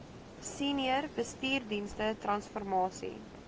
senior bestuursdienste transformasie